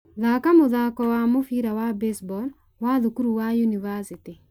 thaaka mũthaako wa mũbira wa baseball wa thukuru wa yunivasĩtĩ